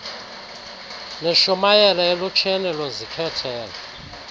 nishumayele elutsheni luzikhethele